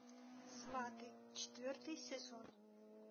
сваты четвертый сезон